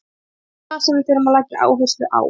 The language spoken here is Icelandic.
Það er það sem við þurfum að leggja áherslu á.